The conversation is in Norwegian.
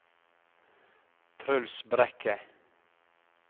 Truls Brekke